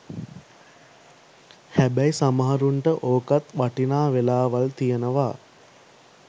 හැබැයි සමහරුන්ට ඕකත් වටිනා වෙලාවල් තියෙනවා